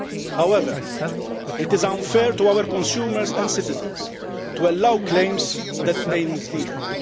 However, it is unfair to our consumers and citizens to allow claims that may mislead them.